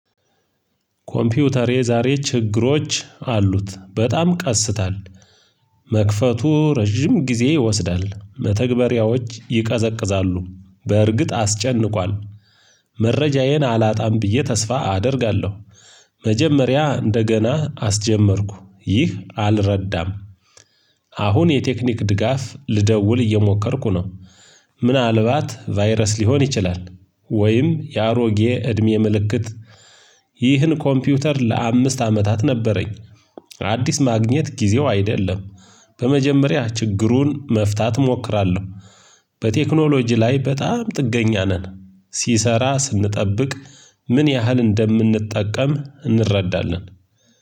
ኮምፒውተሬ ዛሬ ችግሮች አሉት በጣም ቀስታል። መክፈቱ ረጅም ጊዜ ይወስዳል መተግባራዎች ይቀዘቅዛሉ በእርግጥ አስጨንቋል። መረጃዬን አላጣም ብዬ ተስፋ አደርጋለሁ። መጀመሪያ እንደገና አስጀመርኩ ይህ አልረዳም። አሁን የቴክኒክ ድጋፍ ልደውል እየሞከርኩ ነው። ምናልባት ቫይረስ ሊሆን ይችላል። ወይም የአሮጌ እድሜ ምልክት። ይህን ኮምፒውተር ለአምስት አመታት ነበረኝ። አዲስ ማግኘት ጊዜው አይደለም። በመጀመሪያ ችግሩን መፍታት እሞክራለሁ። በቴክኖሎጂ ላይ በጣም ጥገኛ ነን ሲሰራ ስንጠብቅ ምን ያህል እንደምንጠቀም እንረዳለን።